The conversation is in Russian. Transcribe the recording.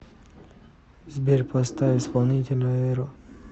сбер поставь исполнителя эро